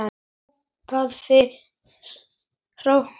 er hrópað.